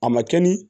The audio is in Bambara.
A ma kɛ ni